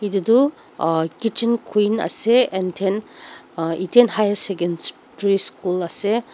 etu tu a kitchen queen ase anthen ethen high secondary school ase.